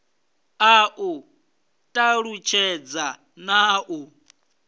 a u talutshedza na u